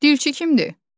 Dilçi kimdir?